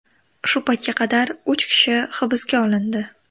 Shu paytga qadar uch kishi hibsga olindi .